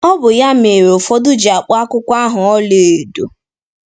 Ọ bụ ya mere ụfọdụ ji akpọ akwụkwọ ahụ “Ọlaedo.”